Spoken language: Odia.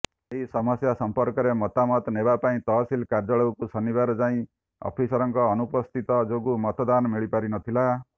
ଏହି ସମସ୍ୟା ସମ୍ପର୍କରେ ମତାମତ ନେବାପାଇଁ ତହସିଲ କାର୍ଯ୍ୟାଳୟକୁ ଶନିବାର ଯାଇ ଅଫିସରଙ୍କ ଅନୁପସ୍ଥିତ ଯୋଗୁଁ ମତାମତ ମିଳିପାରିନଥିଲା